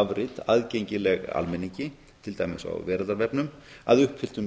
afrit aðgengilegt almenningi til dæmis á veraldarvefnum að uppfylltum